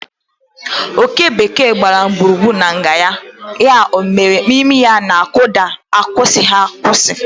Oké bekee gbara gburugburu na nga ya, ya obere imi na-akụda n'akwụsịghị akwụsị.